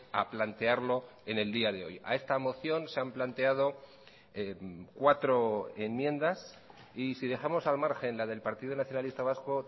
a plantearlo en el día de hoy a esta moción se han planteado cuatro enmiendas y si dejamos al margen la del partido nacionalista vasco